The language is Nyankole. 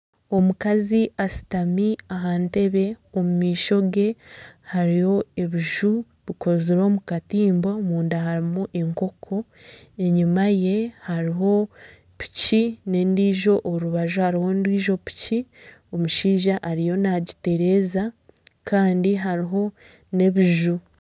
Omukazi ashutami aha ntebe omu maisho ge hariyo ebiju bikozirwe omu katimba omunda harimu enkoko enyuma ye hariyo piki nana orundi orubaju hariho endiijo piki omushaija ariyo nagitereeza kandi hariho nana ebiju.